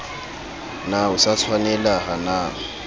na o sa tshwanelaha na